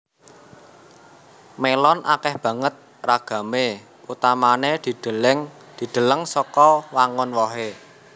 Melon akèh banget ragamé utamané dideleng saka wangun wohé